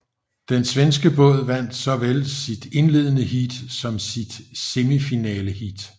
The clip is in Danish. Den svenske båd vandt såvel sit indledende heat som sit semifinaleheat